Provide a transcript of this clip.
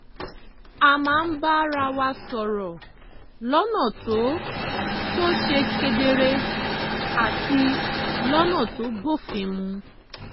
a máa ń bára wa sọ̀rọ̀ lọ́nà tó tó ṣe kedere àti lọ́nà tó bófin mu